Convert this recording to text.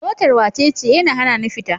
Motar wacece? yana hanani fita.